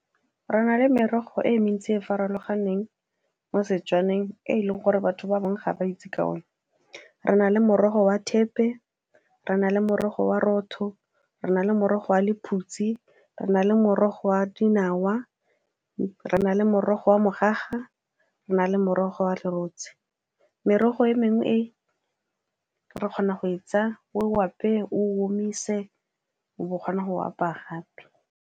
Re na le merogo e e mentsi e e farologaneng mo Setswaneng e e leng gore batho ba bangwe ga ba itse ka one re na le morogo wa thepe, re na le morogo wa roto, re na le morogo wa lephutse, re na le morogo wa dinawa, re na le morogo wa mogaga, re nale morogo wa lerotse. Merogo e mengwe e re kgona go e tsaya o apeye, o omise, o bo o kgona go apaya gape.